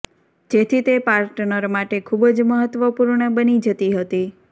જેથી તે પાર્ટનર માટે ખૂબ જ મહત્વપૂર્ણ બની જતી હતી